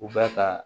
U bɛ ka